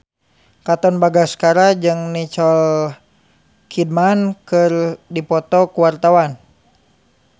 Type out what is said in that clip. Katon Bagaskara jeung Nicole Kidman keur dipoto ku wartawan